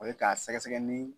O ye k'a sɛgɛsɛgɛ ni